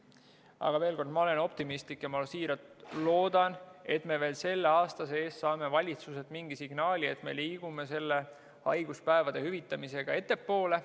Aga veel kord: ma olen optimistlik ja ma siiralt loodan, et me veel selle aasta sees saame valitsuselt mingi signaali, et me liigume haiguspäevade hüvitamisega ettepoole.